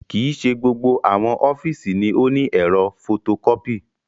Kii ṣe gbogbo awọn ọfiisi ni o ni ẹ̀rọ fotokọpi